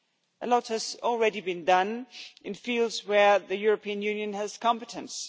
A lot has already been done in fields where the European Union has competence.